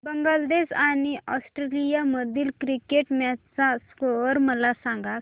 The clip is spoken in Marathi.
बांगलादेश आणि ऑस्ट्रेलिया मधील क्रिकेट मॅच चा स्कोअर मला सांगा